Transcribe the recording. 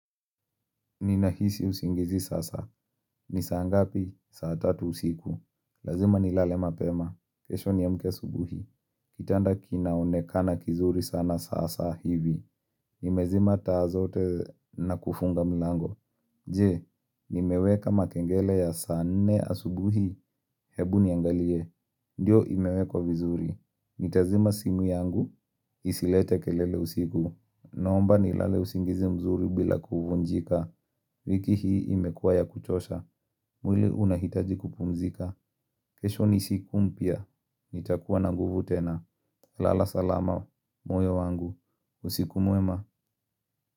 Ninahisi usingizi sasa. Ni saa ngapi? Saa tatu usiku. Lazima nilale mapema. Kesho niamke asubuhi. Kitanda kinaonekana kizuri sana sasa hivi. Nimezima taa zote na kufunga milango. Je, nimeweka makengele ya saa nne asubuhi? Hebu niangalie. Ndio imewekwa vizuri. Nitazima simu yangu, isilete kelele usiku. Naomba nilale usingizi mzuri bila kuvunjika. Wiki hii imekuwa ya kuchosha, mwili unahitaji kupumzika. Kesho ni siku mpya. Nitakuwa na nguvu tena. Lala salama moyo wangu. Usiku mwema.